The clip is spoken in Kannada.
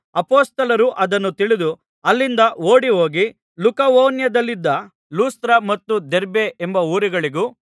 ಅಪೊಸ್ತಲರು ಅದನ್ನು ತಿಳಿದು ಅಲ್ಲಿಂದ ಓಡಿಹೋಗಿ ಲುಕವೋನ್ಯದಲ್ಲಿದ್ದ ಲುಸ್ತ್ರ ಮತ್ತು ದೆರ್ಬೆ ಎಂಬ ಊರುಗಳಿಗೂ